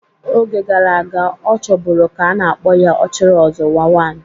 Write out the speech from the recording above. Oge gara aga, ọ chọburu ka a na-akpọ ya "Ochiri ozuwa one".